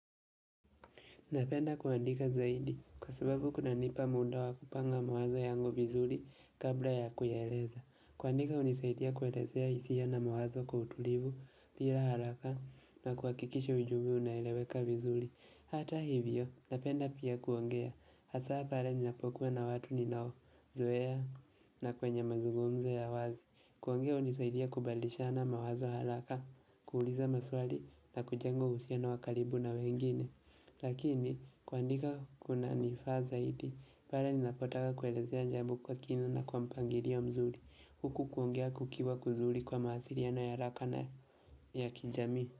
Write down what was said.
Napenda kuandika zaidi kwa sababu kunanipa muda wakupanga mawazo yangu vizuri kabla ya kuyaeleza. Kuandika hunisaidia kuelezea hisia na mawazo kwa utulivu pia haraka na kuhakikisha ujumbe unaeleweka vizuri. Hata hivyo, napenda pia kuongea hasaa pale ninapokuwa na watu ninaozoea na kwenye mazungumzo ya wazi. Kuongea hunisaidia kubalishana mawazo haraka, kuuliza maswali na kujenga uhusiano wa karibu na wengine. Lakini kuandika kunanifaa zaidi pale ninapotaka kuelezea jambo kwa kina na kwa mpangilio mzuri Huku kuongea kukiwa kuzuri kwa mawasiliano ya haraka na ya kijamii.